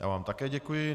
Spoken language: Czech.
Já vám také děkuji.